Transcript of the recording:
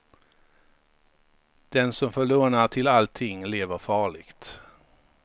Den som får låna till allting lever farligt.